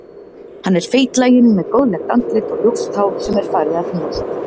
Hann er feitlaginn með góðlegt andlit og ljóst hár sem er farið að þynnast.